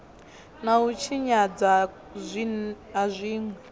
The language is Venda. na u tshinyadzwa ha zwinwe